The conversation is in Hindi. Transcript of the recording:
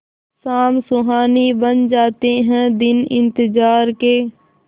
शाम सुहानी बन जाते हैं दिन इंतजार के